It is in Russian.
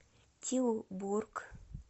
тилбург